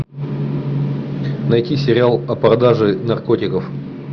найти сериал о продаже наркотиков